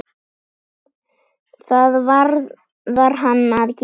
Það varð hann að gera.